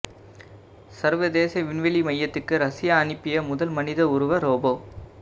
சர்வதேச விண்வெளி மையத்துக்கு ரஷ்யா அனுப்பிய முதல் மனித உருவ ரோபோ